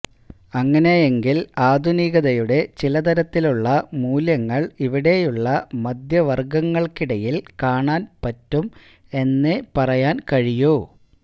അങ്ങനെയെങ്കില് ആധുനികതയുടെ ചില തരത്തിലുള്ള മൂല്യങ്ങള് ഇവിടെയുള്ള മദ്ധ്യവര്ഗങ്ങള്ക്കിടയില് കാണാന് പറ്റും എന്നേ പറയാന് കഴിയൂ